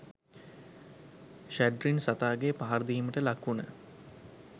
ශැඩ්රින් සතාගෙ පහරදීමට ලක්වුන